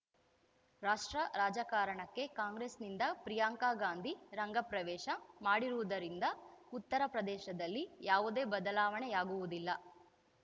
ರಾಷ್ಟ್ರ ರಾಜಕಾರಣಕ್ಕೆ ಕಾಂಗ್ರೆಸ್‌ನಿಂದ ಪ್ರಿಯಾಂಕ ಗಾಂಧಿ ರಂಗ ಪ್ರವೇಶ ಮಾಡಿರುವುದರಿಂದ ಉತ್ತರ ಪ್ರದೇಶದಲ್ಲಿ ಯಾವುದೇ ಬದಲಾವಣೆಯಾಗುವುದಿಲ್ಲ